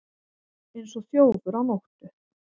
Eins og þjófur á nóttu